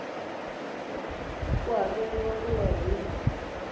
ku hakeriwa ku ya hi